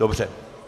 Dobře.